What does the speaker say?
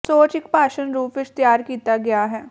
ਸੋਚ ਇੱਕ ਭਾਸ਼ਣ ਰੂਪ ਵਿੱਚ ਤਿਆਰ ਕੀਤਾ ਗਿਆ ਹੈ